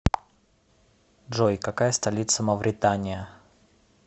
джой какая столица мавритания